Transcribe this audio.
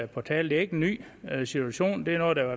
på tale det er ikke en ny situation det er noget der